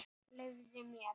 Leyfðu mér!